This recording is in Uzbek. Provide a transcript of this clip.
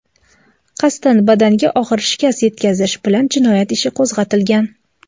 qasddan badanga og‘ir shikast yetkazish) bilan jinoyat ishi qo‘zg‘atilgan.